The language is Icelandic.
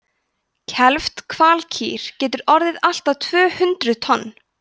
kelfd hvalkýr getur orðið allt að tvö hundruð tonn